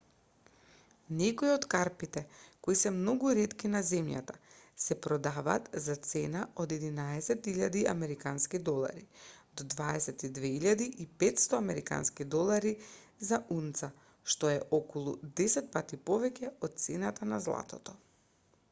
некои од карпите кои се многу ретки на земјата се продадваат за цена од 11 000 американски долари до 22 500 американски долари за унца што е околу десетпати повеќе од цената на златото